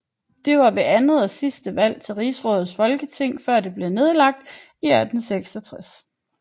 Det var det andet og sidste valg til Rigsrådets Folketing før det blev nedlagt i 1866